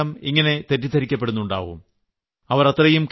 നിങ്ങളും ചിലപ്പോഴെല്ലാം ഇങ്ങനെ തെറ്റിദ്ധരിക്കപ്പെടുന്നുണ്ടാവും